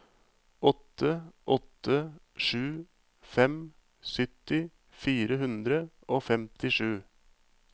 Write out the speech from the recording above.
åtte åtte sju fem sytti fire hundre og femtisju